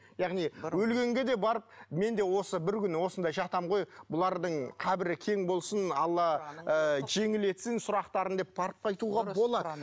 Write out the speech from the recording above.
яғни өлгенге де барып мен де осы бір күні осында жатамын ғой бұлардың қабірі кең болсын алла ы жеңіл етсін сұрақтарын деп барып қайтуға болады